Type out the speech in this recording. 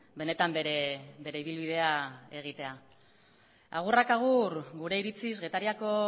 benetan bere ibilbidea egitea agurrak agur gure iritziz getariako